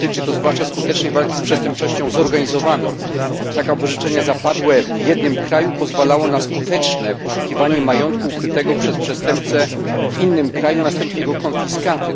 Dotyczy to zwłaszcza skutecznej walki z przestępczością zorganizowaną, tak aby orzeczenie zapadłe w jednym kraju pozwalało na skuteczne poszukiwanie majątku ukrytego przez przestępcę w innym kraju, następnie jego konfiskatę.